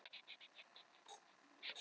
Hann treysti sér ekki út í rokið.